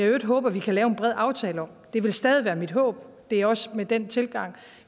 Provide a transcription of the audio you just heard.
øvrigt håber vi kan lave en bred aftale om det er stadig mit håb og det er også den tilgang